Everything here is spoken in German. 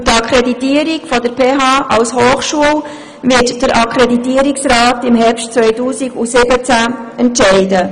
Über die Akkreditierung der PHBern als Hochschule wird der Akkreditierungsrat im Herbst 2017 entscheiden.